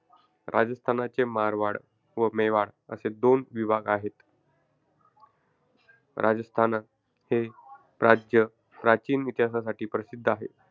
राजस्थानचे मारवाड व मेवाड असे दोन विभाग आहेत. राजस्थान हे राज्य प्राचीन इतिहासासाठी प्रसिद्ध आहे.